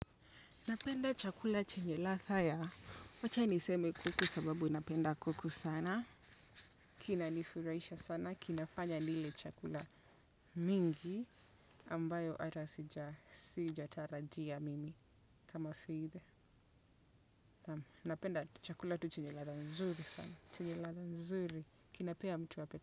Napenda chakula chenye ladha ya, wacha niseme kuku sababu napenda kuku sana, kina nifurahisha sana, kinafanya nile chakula mingi ambayo ata sija tarajia mimi kama vile. Napenda tu chakula tu chenye ladha nzuri sana, chenye ladha nzuri, kinapea mtu apetite.